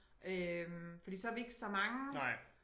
Øh fordi så vi ikke så mange